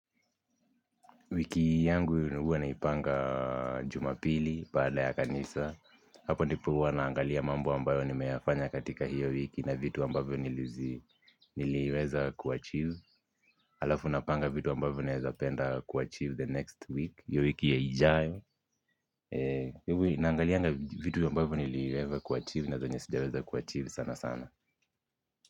Wiki yangu huwa naipanga Jumapili baada ya kanisa. Hapo ndipo huwa naangalia mambo ambayo nimeyafanya katika hiyo wiki na vitu ambayo niliweza kuachieve halafu napanga vitu ambavyo ningependa kuachieve the next week hiyo week ijayo. Naangalianga vitu ambavyo niliweza kuachieve. Na zenye sijaweza kuachieve sana sana.